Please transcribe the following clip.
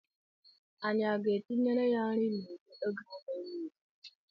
Anyị aga-etinyere ya nri n'igbe oge a na-eli ya?